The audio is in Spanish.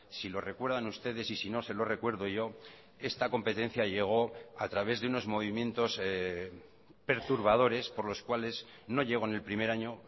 si lo recuerdan ustedes y si no se lo recuerdo yo esta competencia llegó a través de unos movimientos perturbadores por los cuales no llegó en el primer año